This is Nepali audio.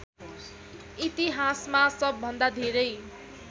इतिहासमा सबभन्दा धेरै